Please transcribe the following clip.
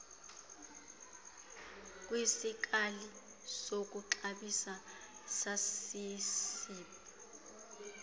kwisikali sokuxabisa sasesib